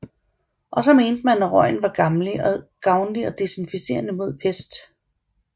Og så mente man at røgen var gavnlig og desinficerende mod pest